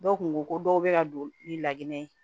Dɔw kun ko ko dɔw bɛ ka don ni laginɛ ye